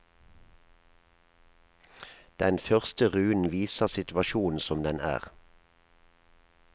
Den første runen viser situasjonen som den er.